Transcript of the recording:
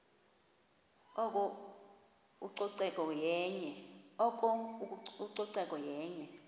oko ucoceko yenye